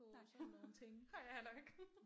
Nej har jeg nok